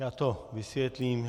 Já to vysvětlím.